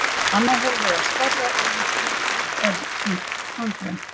Annað hólfið er stærra og í því er hvítt tannkrem.